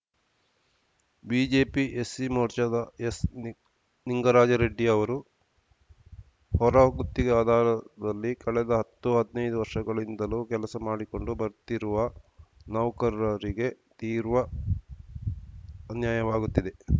BJP SC ಮೋರ್ಚಾದ ಎಸ್ನಿಂಗರಾಜ ರೆಡ್ಡಿ ಅವರು ಹೊರ ಗುತ್ತಿಗೆ ಆಧಾರದಲ್ಲಿ ಕಳೆದ ಹತ್ತುಹದಿನೈದು ವರ್ಷಗಳಿಂದಲೂ ಕೆಲಸ ಮಾಡಿಕೊಂಡು ಬರುತ್ತಿರುವ ನೌಕರರಿಗೆ ತೀರ್ವ ಅನ್ಯಾಯವಾಗುತ್ತಿದೆ